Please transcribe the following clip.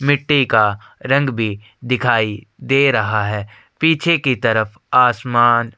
मिट्टी का रंग भी दिखाई दे रहा है पीछे की तरफ आसमान --